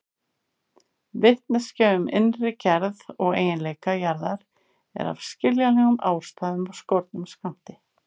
Vitneskja um innri gerð og eiginleika jarðar er af skiljanlegum ástæðum af skornum skammti.